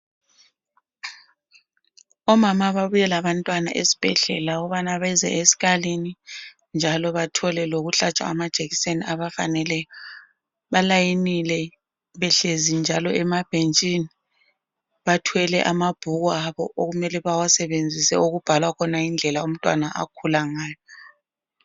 Omama babuye labantwana esibhedlela ukubana beze esikalini njalo bathole lokuhlatshwa amajekiseni abafaneleyo. Balayinile behlezi njalo emabhentshini. Bathwele amabhuku abo okumele bawasebenzise okubhalwa khona indlela umntwana akhula ngayo.